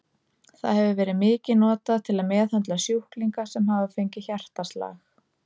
Það hefur verið mikið notað til að meðhöndla sjúklinga sem hafa fengið hjartaslag.